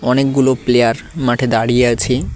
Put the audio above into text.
অনেকগুলো প্লেয়ার মাঠে দাঁড়িয়ে আছে।